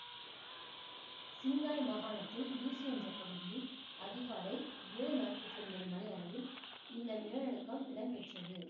சிங்காய் மாகாணத்தில் யூசு என்ற பகுதியில் அதிகாலை ஏழு நாற்பத்தி ஒன்பது மணியளவில் இந்த நிலநடுக்கம் இடம்பெற்றது